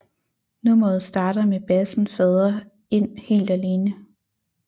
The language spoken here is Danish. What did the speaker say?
Nummeret starter med bassen fader ind helt alene